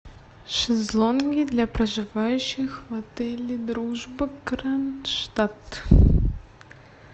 шезлонги для проживающих в отеле дружба кронштадт